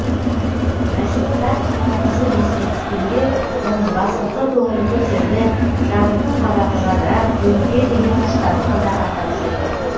жайшылықта қызы есіне түскенде оның басыңқы көңілі көтеріліп жабыңқы қабағы жадырап өмірге деген құштарлығы да арта түсетін